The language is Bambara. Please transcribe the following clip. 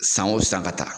San o san ka taa